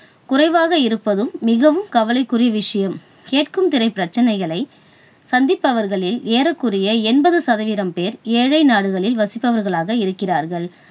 குறைவாக இருப்பதும் மிகவும் கவலைக்குரிய விஷயம். கேட்கும் திறன் பிரச்சனைகளை சந்திப்பவர்களில் ஏறக்குறைய என்பது சதவீதம் பேர் ஏழை நாடுகளில் வசிப்பவர்களாக இருக்கிறார்கள்.